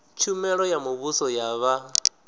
tshumelo ya muvhuso ya vha